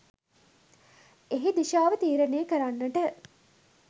එහි දිශාව තීරණය කරන්නට